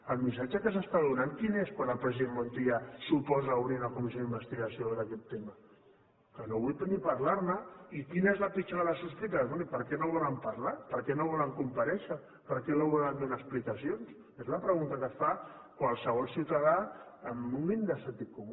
el missatge que s’està donant quin és quan el president montilla s’oposa a obrir una comissió d’investigació d’aquest tema que no vull ni parlar ne i quina és la pitjor de les sospites bé i per què no volen parlar per què no volen comparèixer per què no volen donar explicacions és la pregunta que es fa qualsevol ciutadà amb un mínim de sentit comú